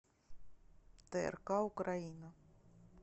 трк украина